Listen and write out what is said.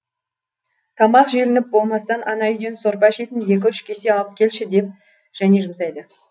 тамақ желініп болмастан ана үйден сорпа ішетін екі үш кесе алып келші деп және жұмсайды